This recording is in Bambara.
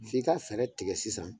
F' ii ka fɛrɛ tigɛ sisan